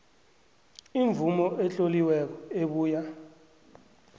imvumo etloliweko ebuya